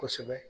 Kosɛbɛ